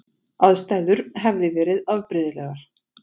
Aðstæður hefði verið afbrigðilegar